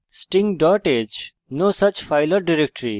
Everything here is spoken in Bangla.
sting h: no such file or directory